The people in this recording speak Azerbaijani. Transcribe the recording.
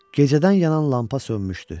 Gecədən yanan lampa sönmüşdü.